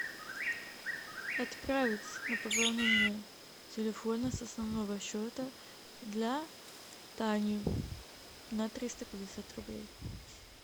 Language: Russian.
отправить на пополнение телефона с основного счета для тани на триста пятьдесят рублей